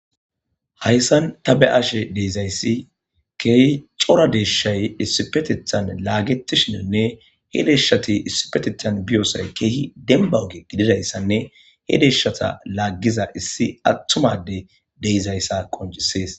Hayssan ta be'ashe deezayssi keehi cora deeshay issipetethan laagetishinonne he deeshati issipetethan biyoosay keehi denbauge gididayssanne he deeshata laaggiza issi attumade deizayssa qonjisees.